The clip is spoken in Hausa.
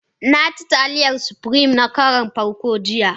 Na ci Taliyar supirim na karon farko jiya.